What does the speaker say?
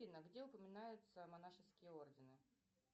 афина где упоминаются монашеские ордены